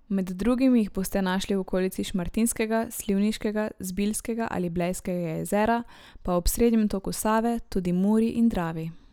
Med drugim jih boste našli v okolici Šmartinskega, Slivniškega, Zbiljskega ali Blejskega jezera, pa ob srednjem toku Save, tudi Muri in Dravi.